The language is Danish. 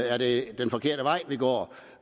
er det den forkerte vej vi går